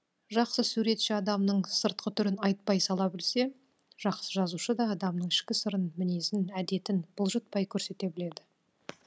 жақсы суретші адамның сыртқы түрін айтпай сала білсе жақсы жазушы да адамның ішкі сырын мінезін әдетін бұлжытпай көрсете біледі